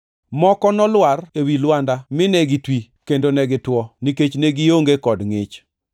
Moko nolwar ewi lwanda mine gitwi kendo ne gitwo nikech ne gionge kod ngʼich.